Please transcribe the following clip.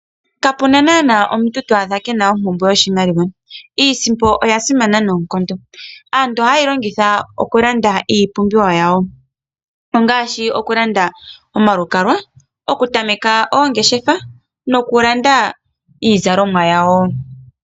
Kapena nana omuntu to adha kena ompumbwe yo shimaliwa, iisimpo oyasimana noonkondo aantu ohaye yilongitha okulanda iipumbiwa yawo ongashi okulanda omalukalwa, okutameka ongeshefa no kulanda iizalomwa yawo.